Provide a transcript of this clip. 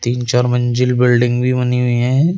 तीन चार मंजिल बिल्डिंग भी बनी हुई है।